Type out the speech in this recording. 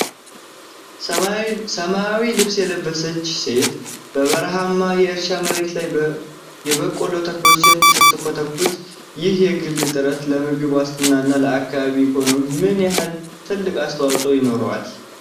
ሰማያዊ ልብስ የለበሰች ሴት፣ በበረሃማ የእርሻ መሬት ላይ የበቆሎ ተክሎችን ስትንከባከብ፣ ይህ የግል ጥረት ለምግብ ዋስትናና ለአካባቢው ኢኮኖሚ ምን ያህል ትልቅ አስተዋፅኦ ይኖረዋል?